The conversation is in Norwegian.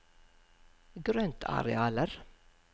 grøntarealer